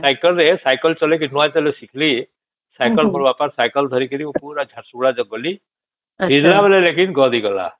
cycle ରେ cycle ଚଳେଇ କି ନୂଆ ଯେବେ ଶିଖିଲି ସାଇକେଲ ମୋ ବାପା ର ସାଇକେଲ ଧରିକି ମୁ ପୁରା ଝାରସୁଗୁଡା ଗଲି ଫେରିଲା ବେଳେ ଲେକିନ ଗଡି ଗଲା